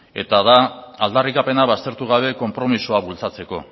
eta da aldarrikapena baztertu gabe konpromisoa bultzatzeko